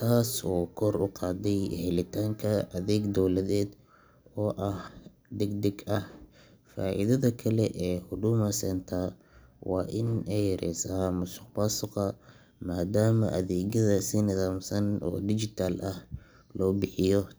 taas oo kor u qaaday helitaanka adeeg dowladeed oo degdeg ah. Faa'iidada kale ee Huduma Centre waa in ay yareysey musuqmaasuqa maadaama adeegyada si nidaamsan oo digital ah loo bixiyo.